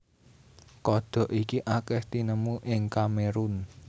Kodhok iki akèh tinemu ing Kamerun